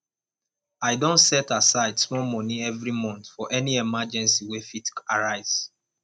i don set aside small money every month for any emergency wey fit arise